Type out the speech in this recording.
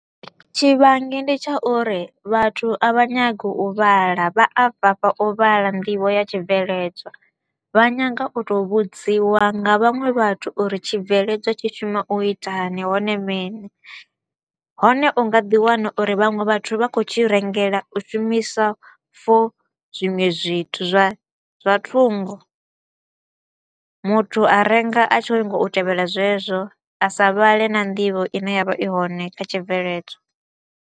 Tshi vhangi ndi tsha uri vhathu a vha nyagi u vhala vha bvafha u vhala nḓivho ya tshibveledzwa. Vha nyanga u to u vhudziwa nga vhaṅwe vhathu uri tshibveledzwa tshi shuma u itani hone mini. Hone u nga ḓi wana uri vhaṅwe vhathu vha kho u tshi rengela u shumisa for zwinwe zwithu zwa zwa thungo, muthu a renga a tshi kho u nyaga u tevhela zwezwo a sa vhale na nḓivho i ne ya vha i hone kha tshibveledzwa.